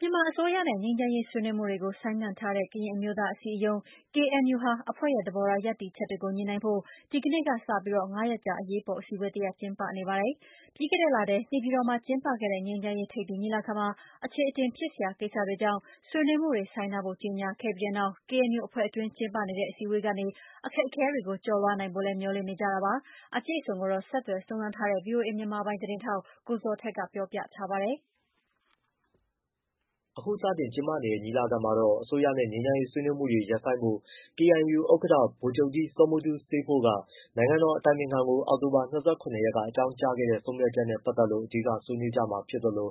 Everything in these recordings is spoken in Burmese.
မြန်မာအစိုးရနဲ့ ငြိမ်းချမ်းရေး ဆွေးနွေးမှုတွေကို ဆိုင်းငံ့ထားတဲ့ ကရင်အမျိုးသားအစည်းအရုံး KNU ဟာ အဖွဲ့ရဲ့ သဘောထား ရပ်တည်ချက်တွေကိ ညှိနှိုင်းဖို့ ဒီနေ့ကစလို့ ၅ ရက်ကြာ အရေးပေါ် အစည်းအဝေးတရပ် စတင်ကျင်းပနေပါပြီ။ ပြီးခဲ့တဲ့လထဲ နေပြည်တော်မှာ ကျင်းပခဲ့တဲ့ ငြိမ်းချမ်းရေး ထိပ်သီးညီလာခံမှာ အချေအတင်ဖြစ်စရာ ကိစ္စတွေကြောင့် ဆွေးနွေးမှုတွေ ဆိုင်းထားဖို့ ကြေညာခဲ့ပြီးနောက် KNU အဖွဲ့တွင်း ကျင်းပနေတဲ့ အစည်းအဝေးကနေ အခက်အခဲတွေကို ကျော်လွှားနိုင်ဖို့လည်း မျှော်လင့်နေကြတာပါ။ အပြည့်အစုံကိုတော့ ဆက်သွယ်စုံစမ်းထားတဲ့ ဗွီအိုအေ မြန်မာပိုင်း သတင်းထောက် ကိုဇော်ထက် ကပြောပြပေးမှာပါ။ အခုစတင် ကျင်းပနေတဲ့ ညီလာခံမှာတော့ အစိုးရနဲ့ ငြိမ်းချမ်းရေး ဆွေးနွေးမှုတွေ ရပ်ဆိုင်းဖို့ KNU ဥက္ကဋ္ဌ ဗိုလ်ချုပ်ကြီး စောမူတူးစေးဖိုး က နိုင်ငံတော်အတိုင်ပင်ခံကို အောက်တိုဘာ၂၇ရက်က အကြောင်းကြားခဲ့တဲ့ ဆုံးဖြတ်ချက်နဲ့ ပတ်သက်လို့ အဓိက ဆွေးနွေးကြမှာဖြစ်သလို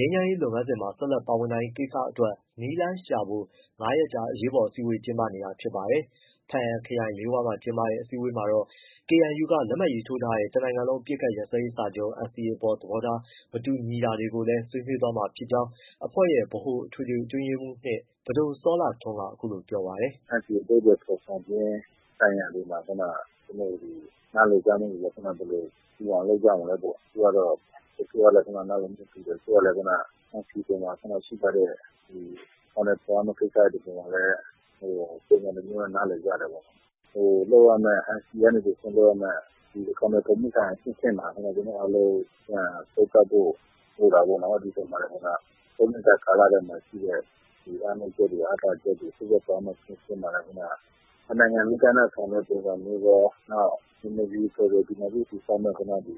၊ ငြိမ်းချမ်းရေး လုပ်ငန်းစဉ်မှာ ဆက်လက် ပါဝင်နိုင်ရေး ကိစ္စတွေအတွက် နည်းလမ်းရှာဖွေဖို့ ၅ ရက်ကြာ အရေးပေါ် အစည်းအဝေး ကျင်းပနေတာ ဖြစ်ပါတယ်။ ဘားအံခရိုင်၊ လေးဝါးမှာ ကျင်းပတဲ့ အစည်းအဝေးမှာတော့ KNU က လက်မှတ်ရေးထိုးထားတဲ့ တနိုင်ငံလုံး အပစ်အခတ်ရပ်စဲရေးစာချုပ် အပေါ် သဘောထားအမြင် မတူညီမှုတွေကိုလည်း ဆွေးနွေးသွားမှာဖြစ်ကြောင်း အဖွဲ့ရဲ့ ဗဟိုအထွေထွေအတွင်းရေးမှူး ပဒိုစောလှထွန်းက အခုလိုပြောပါတယ်။ “NCA အဓိပ္ပာယ်ဖော်ဆောင်ခြင်းဆိုင်ရာတွေမှာ ဘယ်လိုတူအောင်လုပ်ကြမလဲပေါ့ တချို့ကလည်းနားလည်မှုတူတယ် တချို့ကလည်း NCA ပေါ်မှာခုနကရှိထားတဲ့ အကောင်အထည်ဖော်ရမယ့်ကိစ္စတွေပေါ်မှာလည်း ပုံစံတစ်မျိုးနဲ့နားလည်ကြတယ်ပေါ့။ ဟို NCAကနေ တစ်ဆင့်လုပ်ရမယ့် အကောင်အထည်ဖော်မှုဆိုင်ရာအဆင့်ဆင့်မှာ ကျွန်တော်တို့အားလုံး သုံးသပ်ဖို့ဆိုတာကို သုံးနှစ်တာကာလ အတွင်းမှာရှိတဲ့ ဒီအားနည်းချက်တွေ အားသာချက်တွေလုပ်သွားမယ့်အဆင့်ဆင့်မှာလည်းခုနက တစ်နိုင်ငံလုံးအတိုင်းအတာ ဆောင်ရွက်တဲ့ပုံစံမျိုးရော နောက်ဒီမိုကရေစီဖက်ဒရယ်တည်ဆောက်မယ့်ခုနကဒီ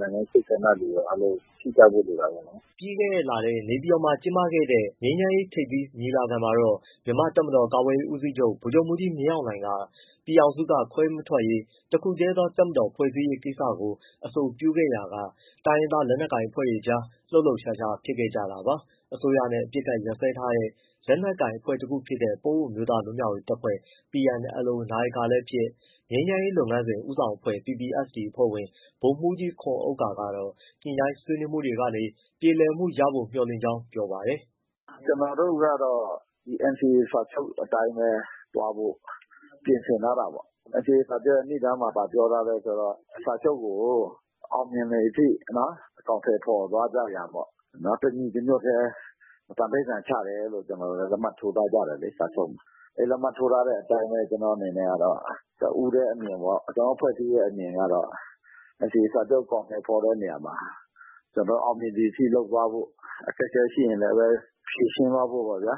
နိုင်ငံရေးစိတ်ဆန္ဒတွေရော အားလုံးရှိကြဖို့လိုတာပေါ့ နော်။” ပြီးခဲ့တဲ့လထဲ နေပြည်တော်မှာ ကျင်းပခဲ့တဲ့ ငြိမ်းချမ်းရေး ထိပ်သီးညီလာခံမှာတော့ မြန်မာ့တပ်မတော် ကာကွယ်ရေး ဦးစီးချုပ် ဗိုလ်ချုပ်မှူးကြီး မင်းအောင်လှိုင်က ပြည်ထောင်စုက ခွဲမထွက်ရေး၊ တခုတည်းသော တပ်မတော် ဖွဲ့စည်းရေး ကိစ္စတွေကို အဆိုပြုခဲ့ရာက တိုင်းရင်းသား လက်နက်ကိုင် အဖွဲ့တွေကြား လှုပ်လှုပ်ရှားရှားဖြစ်ခဲ့ကြတာပါ။ အစိုးရနဲ့ အပစ်အခတ် ရပ်စဲထားတဲ့ လက်နက်ကိုင်အဖွဲ့တခုဖြစ်တဲ့ ပအိုဝ်းအမျိုးသား လွတ်မြောက်ရေးအဖွဲ့ PNLO နာယကလည်းဖြစ်၊ ငြိမ်းချမ်းရေးလုပ်ငန်းစဉ် ဦးဆောင်အဖွဲ့ PPST အဖွဲ့ဝင် ဗိုလ်မှူးကြီး ခွန်ဥက္ကာကတော့ ဆွေးနွေးညှိနှိုင်းမှုတွေကနေ ပြေလည်မှုရဖို့ မျှော်လင့်ကြောင်း ပြောပါတယ်။ “ကျွန်တော်တို့ကတော့ ဒီ NCA စာချုပ်အတိုင်းပဲ သွားဖို့ပြင်ဆင်ထားတာပေါ့။ NCA စာချုပ်ရဲ့နိဒါန်းမှာ ဘာပြောထားလဲဆိုတော့ စာချုပ်ကို အောင်မြင်သည်အထိ နော် အကောင်အထည်ဖော်သွားကြရန်ပေါ့နော် တစ်ညီတစ်ညွတ်တည်း သန္နိဋ္ဌာန်ချတယ်လို့ ကျွန်တော်တို့ လက်မှတ်ထိုးကြတယ်လေ စာချုပ်မှာ။ အဲဒီလက်မှတ်ထိုးထားတဲ့အတိုင်းပဲ ကျွန်တော့အနေနဲ့ကတော့ တစ်ဦးတည်းအမြင်ပေါ့ ကျွန်တော့် အဖွဲ့အစည်းရဲ့ အမြင်ကတော့ NCA စာချုပ်အကောင်အထည်ဖော်တဲ့နေရာမှာ ကျွန်တော်အောင်မြင်သည်အထိ လုပ်သွားဖို့ အခက်အခဲ ရှိရင်လည်းပဲ ဖြေရှင်းသွားဖို့ပေါ့ဗျာ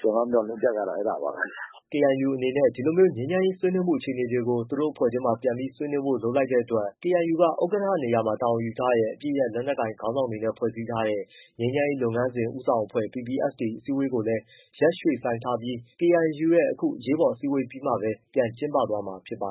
ကျွန်တော့်မျှော်လင့်ချက်ကတော့ အဲဒါပါပဲ။” KNU အနေနဲ့ ဒီလိုမျိုး ငြိမ်းချမ်းရေးဆွေးနွေးမှုအခြေအနေတွေကို သူတို့အဖွဲ့အတွင်းမှာ ပြန်ပြီးဆွေးနွေးဖို့လုပ်လိုက်တဲ့အတွက် KNUက ဥက္ကဋ္ဌနေရာမှာတာဝန်ယူထားတဲ့ အပစ်ရပ်လက်နက်ကိုင်ခေါင်းဆောင်တွေနဲ့ဖွဲ့ထားတဲ့ ငြိမ်းချမ်းရေးလုပ်ငန်းစဉ် ဦးဆောင်အဖွဲ့ PPST အစည်းအဝေးကိုလည်း ရက်ရွှေ့ဆိုင်းထားပြီး KNU ရဲ့ အခုအရေးပေါ်အစည်းအဝေးပြီးမှပဲ ပြန်ကျင်းပသွားမှာ ဖြစ်ပါ